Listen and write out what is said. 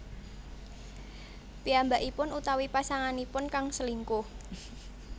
Piyambakipun utawi pasanganipun kang selingkuh